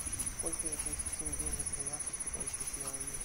сколько я получу тенге за тринадцать китайских юаней